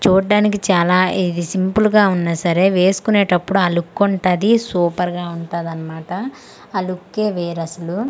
చూడ్డానికి చాలా ఇది సింపుల్ గా ఉన్న సరే వేసుకునేటప్పుడు ఆ లుక్ ఉంటది సూపర్ గా ఉంటదన్నమాట ఆ లుక్ యే వేర్ అసలు.